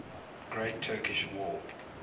great turkish war